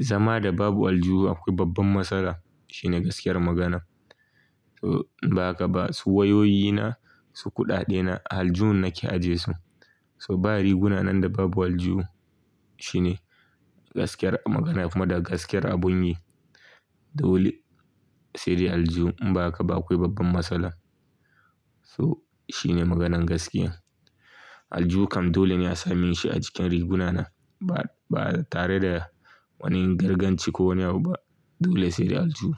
Zama da babu aljihu akwai babban matsala shine gaskiyar magana. So inba haka ba su wayoyi na, su kuɗaɗe na a aljihun nake ajiye su. So ba riguna na da babu aljihu shine gaskiyar magana kuma da gaskiyar abun yi. Dole sai dai aljuhu in ba haka ba akwai babban matsala. So shi ne maganan gaskiya. Aljihu kam dole ne a same shi a cikin riguna na ba, ba tare da wani ganganci ko wani abu ba. Dole sai dai aljuhu.